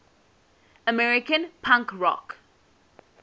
american punk rock